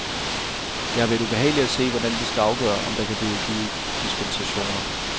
Det har været ubehageligt at se, hvordan de skal afgøre, om der kan blive givet dispensationer.